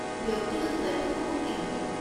ব্যক্তিগত তথ্যসমূহ কি হ'ব?